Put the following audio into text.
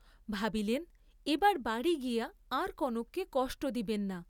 ভাবিলেন এবার বাড়ী গিয়া আর কনককে কষ্ট দিবেন না।